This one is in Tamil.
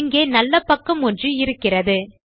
இங்கே நல்ல பக்கம் ஒன்று இருக்கிறது